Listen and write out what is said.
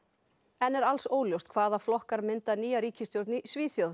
enn er alls óljóst hvaða flokkar mynda nýja ríkisstjórn í Svíþjóð